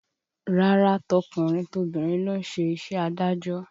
Rárá, tọkùnrin tobìnrin ló ń ṣe iṣẹ́ adájọ́